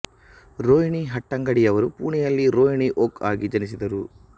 ರೋಹಿಣಿ ಹಟ್ಟಂಗಡಿ ಯವರು ಪುಣೆಯಲ್ಲಿ ರೋಹಿಣಿ ಓಕ್ ಆಗಿ ಜನಿಸಿದರು